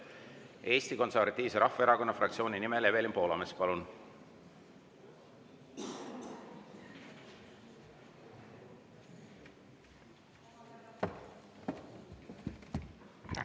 Eesti Konservatiivse Rahvaerakonna fraktsiooni nimel Evelin Poolamets, palun!